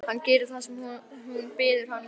Hann gerir það sem hún biður hann um.